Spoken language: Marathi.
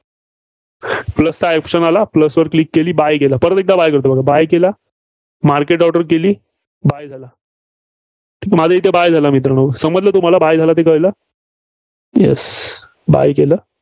plus चा option आला. Plus वर Click केली buy केलं. परत एकदा buy करतो, बघा buy केलं. market order केली. buy झाला. माझां इथं buy झाला मित्रांनो. समजलं तुम्हाला? buy झाला ते कळलं. Yes buy केलं.